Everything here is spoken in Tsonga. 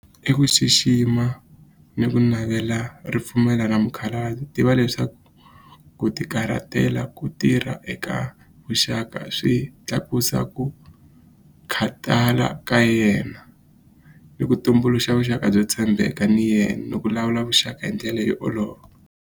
I ku xixima ni ku navela ripfumelo ra tiva leswaku ku tikarhatela ku tirha eka vuxaka swi tlakusa ku khatala ka yena ni ku tumbuluxa vuxaka byo tshembeka ni yena ni ku lawula vuxaka hi ndlela yo olova.